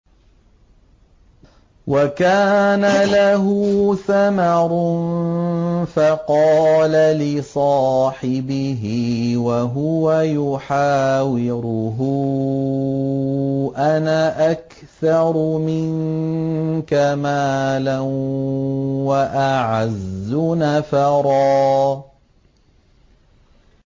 وَكَانَ لَهُ ثَمَرٌ فَقَالَ لِصَاحِبِهِ وَهُوَ يُحَاوِرُهُ أَنَا أَكْثَرُ مِنكَ مَالًا وَأَعَزُّ نَفَرًا